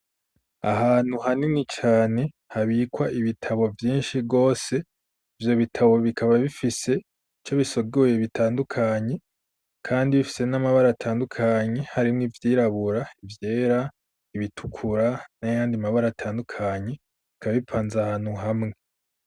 Ahantu hanini cane habikwa ibitabo vyinshi gose, ivyo bitabo bikaba bifise ico bisiguye bitandukanye ,kandi bifise n'amabara atandukanye, harimwo ivyirabura ,ivyera ,ibitukura n'ayandi mabara atandukanye bikaba bipanze ahantu hamwe.